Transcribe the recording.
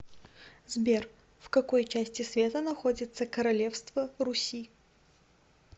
сбер в какой части света находится королевство руси